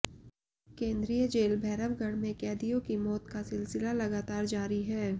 केन्द्रीय जेल भैरवगढ़ में कैदियों की मौत का सिलसिला लगातार जारी है